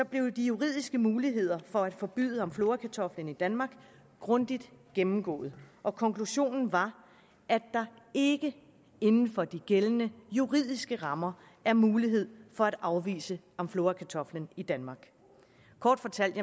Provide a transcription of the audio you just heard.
de juridiske muligheder for at forbyde amflorakartoflen i danmark grundigt gennemgået og konklusionen var at der ikke inden for de gældende juridiske rammer er mulighed for at afvise amflorakartoflen i danmark kort fortalt